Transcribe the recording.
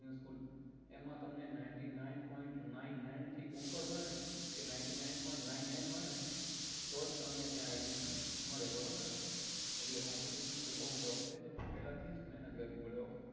એમાં તમને ninety nine pont nine nine થી ઉપર હોય ને કે ninety nine point nine nine હોય ને તો જ તમને ત્યાં admission મળે બરોબર ને એટલે competition તો બઉ tuff છે તમને પેલા થી જ મહેનત કરવી પડે ok